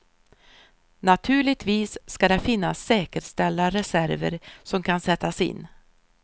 Naturligtvis ska det finnas säkerställda reserver som kan sättas in.